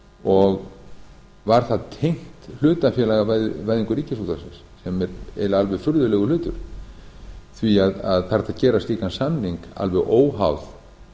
og var það tengt hlutafélagavæðingu ríkisútvarpsins sem er eiginlega alveg furðulegur hlutur því það er hægt að gera slíkan samning alveg óháð